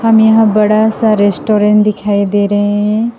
यहां बड़ा सा रेस्टोरेंट दिखाई दे रहे हैं।